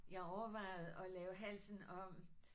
Jeg overvejede at lave halsen om